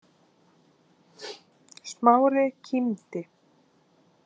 Smári kímdi.